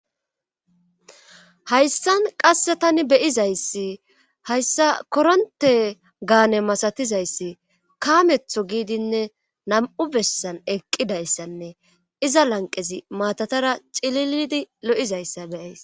Hayssan qasse tani beyizayssi hayssa koronte gaane masatizayssi kaametho giidinne nam7u bessan eqqidayssanne iza lanqezi maatatara cililidi lo7izayssa beyays